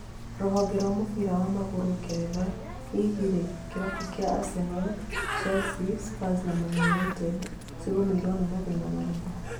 Rũhonge rwa mũbira wa magũrũ ngeretha, hihi rĩ kĩrabu kĩa Arsenal, Chelsea Spurs na Man Utd cĩgũmĩirwo nĩ mathĩna marĩkũ?